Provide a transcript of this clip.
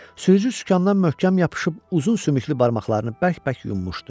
Sürücü sükandan möhkəm yapışıb uzun sümüklü barmaqlarını bərk-bərk yummuşdu.